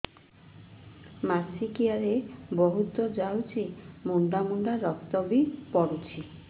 ମାସିକିଆ ରେ ବହୁତ ଯାଉଛି ମୁଣ୍ଡା ମୁଣ୍ଡା ରକ୍ତ ବି ପଡୁଛି